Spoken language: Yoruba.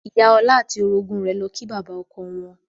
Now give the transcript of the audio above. Ìyá ọlá àti orogún rẹ̀ lọ kí bàbá ọkọ wọn.